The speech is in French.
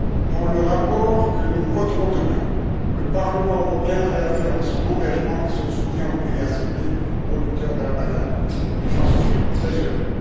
Dans le rapport que nous voterons demain, le Parlement européen réaffirme son engagement et son soutien aux pays ACP producteurs de banane et j'en suis très heureux.